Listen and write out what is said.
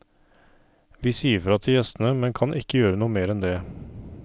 Vi sier fra til gjestene, men kan ikke gjøre mer enn det.